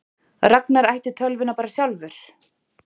Ragnar ætti tölvuna bara sjálfur?